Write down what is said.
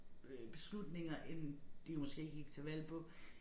Øh beslutninger end de måske gik til valg på